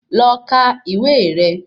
Lọ kà ìwé rẹ